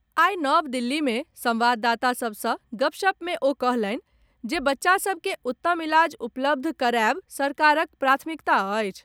आइ नव दिल्ली में संवाददाता सभ सॅ गपशप मे ओ कहलनि जे बच्चा सभ के उत्तम इलाज उपलब्ध कराएब सरकारक प्राथमिकता अछि।